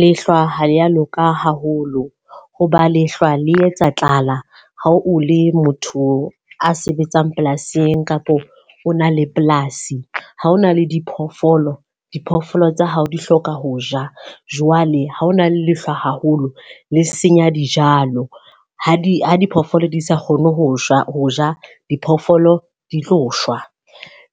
Lehlwa ha ya loka haholo. Ho ba lehlwa le etsa tlala ha o le motho a sebetsang polasing kapo o na le polasi. Ha o na le diphoofolo, diphoofolo tsa hao di hloka ho ja. Jwale ha ho na le lehlwa haholo le senya dijalo, ha di ha diphoofolo di sa kgone ho shwa, ho ja. Diphoofolo di tlo shwa